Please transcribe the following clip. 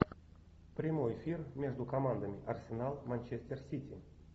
прямой эфир между командами арсенал манчестер сити